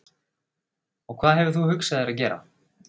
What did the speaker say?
Og hvað hefur þú hugsað þér að gera?